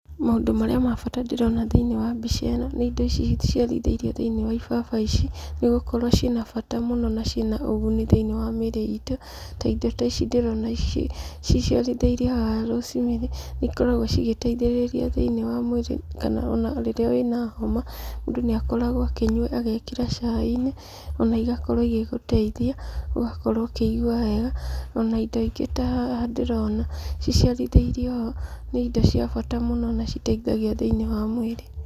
Maũndũ marĩa ma bata ndĩrona thĩ-inĩ wa mbica ĩno nĩ indo ici ciciarithirio thĩiniĩ wa ibaba ici ĩkoragwo ciĩna bata muno na ciĩna ũguni thiiniĩ wa mĩĩrĩ iitũ. Ta indo ta ici ndĩrona ici ciciarithĩirio haha niikoragwo cigĩteithĩrĩria thĩinĩ wa mĩĩrĩ kana ona rĩrĩa wĩna homa, mũndũ nĩakoragwo akĩnyua agekĩra caai-inĩ. Ona igakorwo igĩgĩteithia gũkorwo ukĩigua wega ona indo ingĩ ta haha ndĩrona ciciarithĩirio ho nĩ indo cia bata muno na iteithagia thĩiniĩ wa mwĩĩrĩ